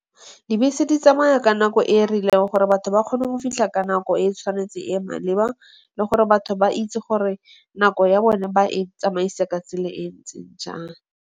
Dibese di tsamaya ka nako e e rileng gore batho ba kgone go fitlha ka nako e e tshwanetseng e e maleba le gore batho ba itse gore nako ya bone ba e tsamaise ka tsela e e ntseng jang.